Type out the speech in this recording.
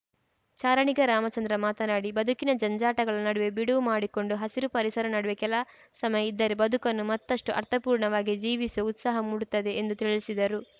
ಚಾರಣಿಗ ರಾಮಚಂದ್ರ ಮಾತನಾಡಿ ಬದುಕಿನ ಜಂಜಾಟಗಳ ನಡುವೆ ಬಿಡುವು ಮಾಡಿಕೊಂಡು ಹಸಿರು ಪರಿಸರ ನಡುವೆ ಕೆಲ ಸಮಯ ಇದ್ದರೆ ಬದುಕನ್ನು ಮತ್ತಷ್ಟುಅರ್ಥಪೂರ್ಣವಾಗಿ ಜೀವಿಸುವ ಉತ್ಸಾಹ ಮೂಡುತ್ತದೆ ಎಂದು ತಿಳಿಸಿದರು